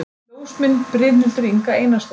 Ljósmynd: Brynhildur Inga Einarsdóttir